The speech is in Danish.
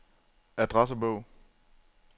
adressebog